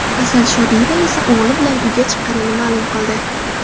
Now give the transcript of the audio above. Asal Shodiyeva esa o‘g‘li bilan uyga chiqqanini ma’lum qildi.